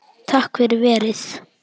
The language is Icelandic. Takk fyrir verið